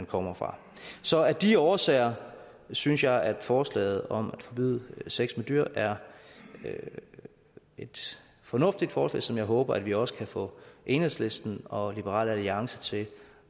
kommer fra så af de årsager synes jeg at forslaget om at forbyde sex med dyr er et fornuftigt forslag som jeg håber vi også kan få enhedslisten og liberal alliance til